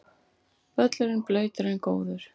Völlurinn blautur en góður